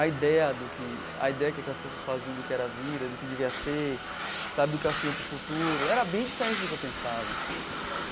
A ideia do que a ideia que aquelas pessoas faziam do que era a vida, do que devia ser sabe, do que elas queriam para o futuro, era bem diferente do que eu pensava.